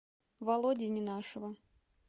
володи ненашева